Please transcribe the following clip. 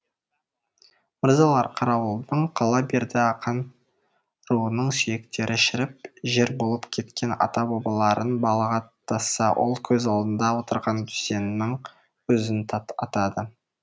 мырзалар қарауылдың қала берді ақан руының сүйектері шіріп жер болып кеткен ата бабаларын балағаттаса ол көз алдында отырған дүзеннің өзін атады